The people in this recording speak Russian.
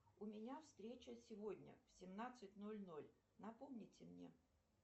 у меня встреча сегодня в семнадцать ноль ноль напомните мне